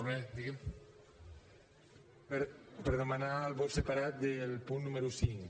per demanar el vot separat del punt número cinc